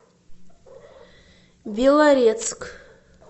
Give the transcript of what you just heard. белорецк